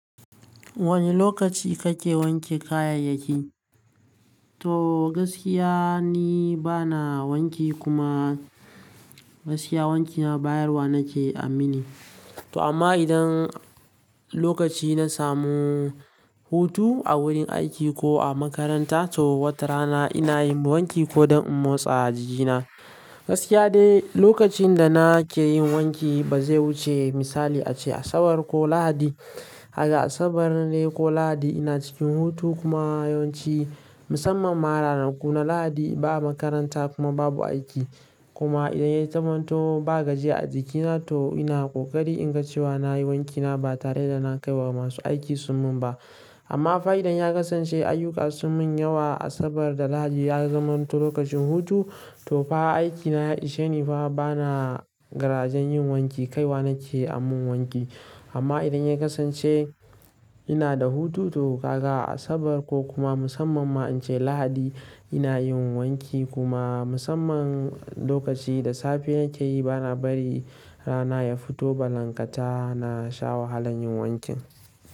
Wane lokaci kake wanke kayayyaki? To gaskiya ni bana wanki kuma gaskiya wankina bayarwa nake aminne. To amma idan lokaci na samu hutu a wurin aiki ko a makaranta to wata rana ina yin wanki ko don in motsa jikina. Gaskiya dai lokacin da na ke yin wanki ba zai wuce misali ace Asabar ko Lahadi. Haka Asabar ne ko Lahadi ina cikin hutu kuma yawanci musamman ma ranar kuna Lahadi ba makaranta kuma babu aiki. Kuma idan ya zamanto ba gajiya a jikina to ina ƙoƙari in ga cewa na yi wankina ba tare da na kai wa masu aiki summun ba. Amma fa idan ya kasance ayyuka sun min yawa Asabar da Lahadi ya zamanto lokacin hutu to fa aikina ya isheni fa bana garaje yin wanki kaiwa nake amin wanki. Amma idan ya kasance ina da hutu to gaga Asabar ko kuma musamman ma in ce Lahadi ina yin wanki kuma musamman lokaci da safe yake yi bana bari rana ya fito ballanta na sha wahalan yin wankin.